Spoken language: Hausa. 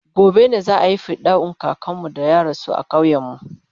gobe ne za'ayi fidda'un kakanmu da ya rasu a ƙauyen mu